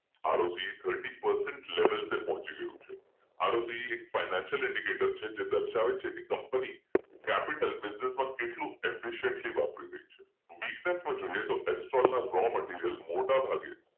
ROCthirtypercent level એ પહોંચી ગયું છે ROC Financial Indicators છે જે દર્શાવે છે કંપની કેપિટલ બિઝનેસમાં કેટલું Efficiency વાપરી રહી છે weakness માં જોઈએ તો એસટોલ રો મટીરીયલ મોટાભાગે